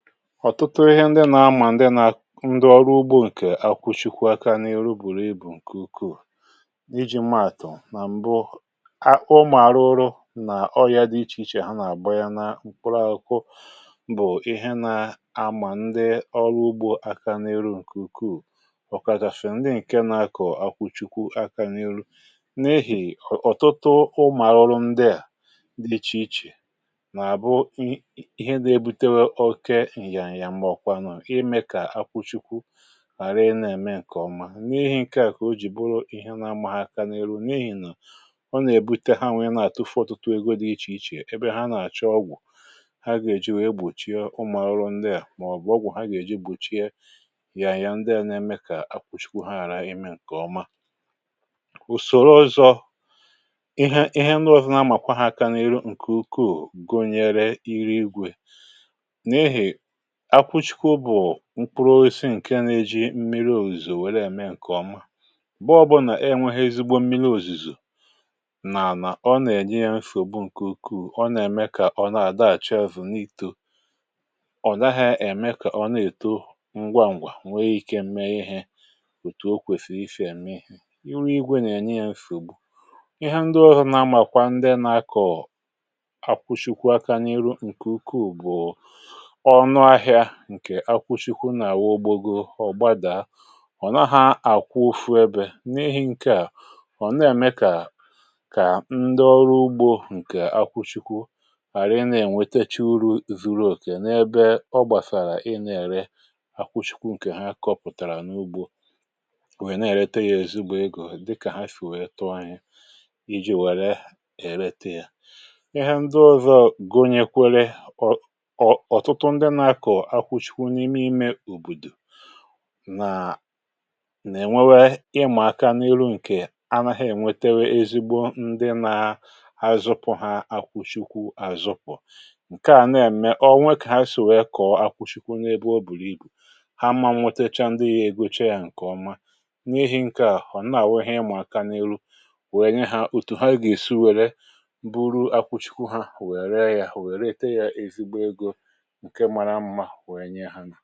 ọ̀tụtụ ihe ndị nà-amà ndị ọrụ ugbo ǹkè akwụchikwu aka n’elu bùrù ibù ǹkè ukwuù iji̇ maàtụ̀ nà m̀bụ ụmụ̀ àrụrụ nà ọ ya dị ichè ichè ha nà-àgba ya nà mkpụrụ ákwụ bụ̀ ihe nȧ-amà ndị ọrụ ugbo aka n’elu um ǹkè ukwuù ọ̀ kà gà-àfè ndị ǹke nȧ-àkọ akwụchikwu aka n’elu n’ehì ọ̀tụtụ ụmụ̀ àrụrụ ndị à dị ichè ichè ùsòrò ọzọ̀ ihe ihe ṅdụ̇zụ̀ nà amàkwa ha akȧ n’ihu ǹkè ukwuù gonyere iri igwė akwụchikwa ụbụ̀ mkpụrụ osisi ǹke na-eji mmiri òzìzò wère ème ǹkè ọma bụọ bụ nà enwe ha ezigbo mmiri òzìzò nànà ọ nà-ènyere mfì òbu ǹkè ukwuù ọ nà-ème kà ọ na-àdàhàchị azụ̀ n’itò ọ̀ daghị̇ ème kà ọ na-èto ngwa ǹgwà um nwee ike mme ihe òtù okwèsìrì ifè ème ihe iru igwe nà-ènye ya mfì ugbù ihe ndị ọrụ nà amàkwa ndị na-akọ̀ọ̀ akwụchịkwa aka nyere ǹkè ukwuù bụ̀ ǹkè akwụchikwu nà-àwọ ugbȯ go ọ̀ gbadaa ọ̀ na ha àkwụ fụ ebė n’ihi̇ ǹke à ọ̀ na-èmekà kà ndị ọrụ̇ ugbȯ ǹkè akwụchikwu àrị na-ènwetechi uru zu̇ru̇ ùkè um n’ebe ọ gbàsàrà ị na-ère akwụchikwu ǹkè ha kọpụ̀tàrà n’ugbȯ wèe na-èlete yȧ èzi ugbȯ egȯ dịkà ha shì wèe tọ oyi iji̇ wère èlete yȧ ihe ndị ọzọ gonyèkwere nà-ènwebe ịmà aka n’iru ǹkè anaghị ènwetewe ezigbo ndị na-azụpụ ha akwụchikwụ àzụpụ̀ ǹke à na-ème o nwekà ha sì wèe kọ̀ọ akwụchikwụ n’ebe o bùrù ibù ha mmȧ nwetecha ndị ya ègocha ya ǹkèọma n’ihi̇ ǹke à họ̀ nà-àwehi ịmà aka n’iru wèe nye ha òtù ha gà-èsi wère bụrụ akwụchikwụ ha wèe ree yȧ wèe rete yȧ ezigbo egȯ ǹkẹ̀ ọ